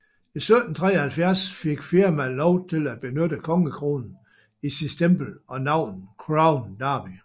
I 1773 fik firmaet lov til at benytte kongekronen i sit stempel og navnet Crown Derby